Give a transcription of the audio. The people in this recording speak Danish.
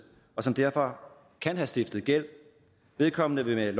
og som derfor kan have stiftet gæld vedkommende vil